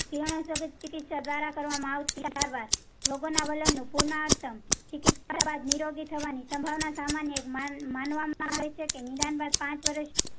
કિરણોત્સર્ગ ચિકિત્સા દ્વારા કરવામાં આવતી સારવાર લોકોના વર્ણન પૂર્ણઉત્તમ ચિકિત્સા બાદ નિરોગી થવા ની સંભાવના સામાન્ય માનવા માં આવે છે કે નિદાન બાદ પાંચ વર્ષ